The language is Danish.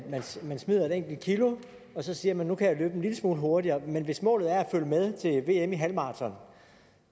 man smider et enkelt kilo og så siger man at nu kan jeg løbe en lille smule hurtigere men hvis målet var at følge med til vm i halvmaraton